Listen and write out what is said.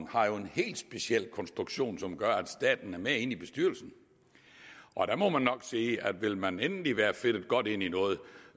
har en helt speciel konstruktion som gør at staten er med inde i bestyrelsen og der må jeg nok sige at vil man endelig være fedtet godt ind i noget